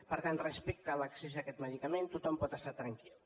per tant respecte a l’accés a aquest medicament tothom pot estar tranquil